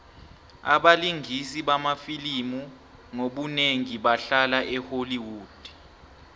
abalingisi bamafilimu ngobunengi bahlala e holly wood